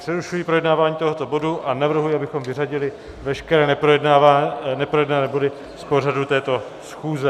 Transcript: Přerušuji projednávání tohoto bodu a navrhuji, abychom vyřadili veškeré neprojednané body z pořadu této schůze.